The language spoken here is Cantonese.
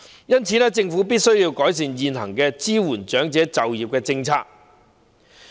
因此，政府必須改善現行支援長者就業的政策。